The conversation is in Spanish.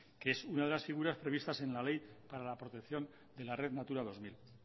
que es una de las figuras previstas en la ley para la protección de la red natura dos mil